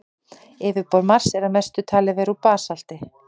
Yfirborð Mars er að mestu talið vera úr basalti.